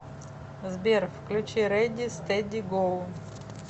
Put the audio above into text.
сбер включи рэди стэди гоу